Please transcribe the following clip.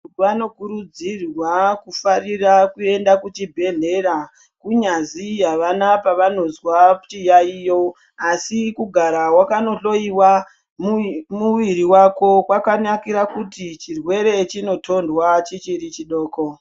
Vanokurudzirwa kufarira kuenda kuchibhehlera kunyazi havana pavanozwa chiyayiyo asi kugara wakanohloyiwa mwiri wako kwakanakira kuti chirwere chinotorwa chichiri chidoko.